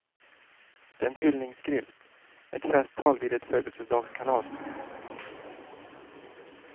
Det är en hyllningsskrift, ett festtal vid ett födelsedagskalas.